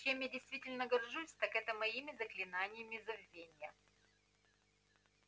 чем я действительно горжусь так это моими заклинаниями забвения